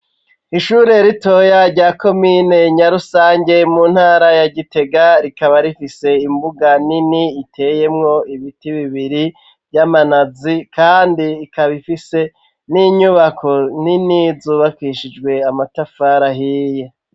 Ishuri ritoya rya komine Nyarusange mu ntara ya Gitega. Rikaba rifise imbuga nini iteyemwo ibiti bibiri vy'amanazi . Kandi ikaba ifise n'inyubako nini zubakishijwe amatafari ahiye.